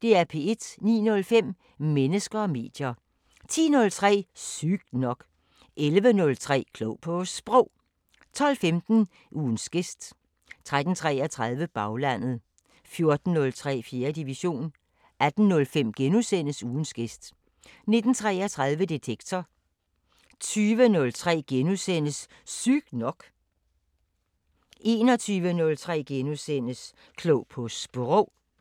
09:05: Mennesker og medier 10:03: Sygt nok 11:03: Klog på Sprog 12:15: Ugens gæst 13:33: Baglandet 14:03: 4. division 18:05: Ugens gæst * 19:33: Detektor 20:03: Sygt nok * 21:03: Klog på Sprog *